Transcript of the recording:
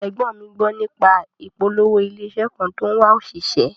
Ẹ̀gbọ́n mi gbó nípa ìpolówó ilé iṣẹ́ kan tó ń wá òṣìṣẹ́